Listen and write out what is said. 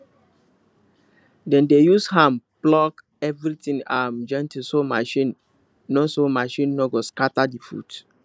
dem dey use hand pluck everything um gently so machine no so machine no go scatter the food